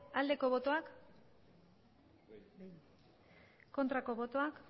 aldeko botoak aurkako botoak